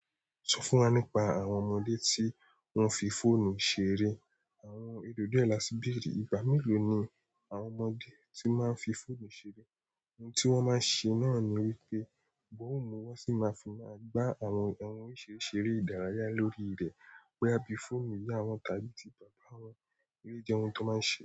Sọ fún wa nípa àwọn ọmọdé tí wọ́n fi fóònù ṣeré. Àwọn ènìyàn dì ẹ là sí bẹ̀rẹ̀, ìgbà mélòó ni àwọn ọmọdé tí máa ń fi fóònù ṣeré, ohun tí wọ́n máa ń ṣe náà ni wípé gbóhùn mu wọ́n sì máa fi máa gbá àwọn ohun ìṣeréṣeré ìdárayá lórí rẹ̀, wé bíi fóònù ìyá wọn tàbí ti bàbá wọn, èyì jẹ́ ohun tí wọ́n máa ń ṣe.